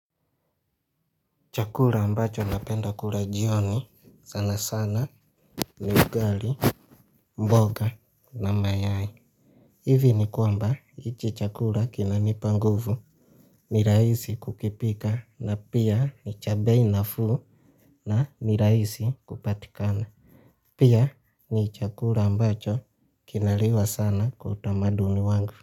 Chakura ambacho napenda kura jioni sana sana ni ugali mboga na mayai. Hivi ni kwamba ichi chakura kinanipa nguvu ni raisi kukipika na pia ni cha bei nafu na ni raisi kupatikana. Pia ni chakura ambacho kinaliwa sana kwa utamaduni wangu.